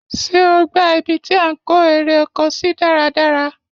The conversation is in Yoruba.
Ṣé o gbá ibi tí à ń kó eré oko sí dáradára?